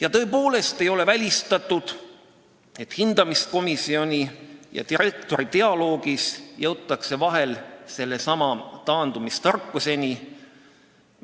Ja tõepoolest ei ole välistatud, et hindamiskomisjoni ja direktori dialoogis jõutakse vahel sellesama taandumistarkuseni,